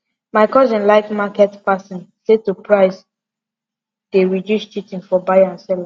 my cousin like market passen say to price dey reduce cheating for buyer and seller